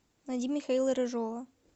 найди михаила рыжова